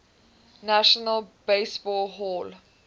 national baseball hall